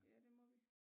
Ja det må vi